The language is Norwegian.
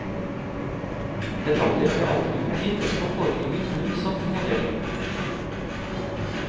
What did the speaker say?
Medaljen ble aldri utgitt og foreligger kun som modell.